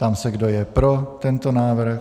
Ptám se, kdo je pro tento návrh.